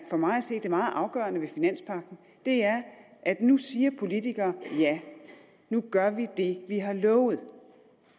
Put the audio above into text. for mig at se er det meget afgørende ved finanspagten er at nu siger politikere ja nu gør vi det vi har lovet